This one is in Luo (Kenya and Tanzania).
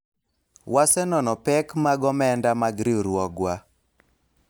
wasenonO pek mag omenda mag riwruogwa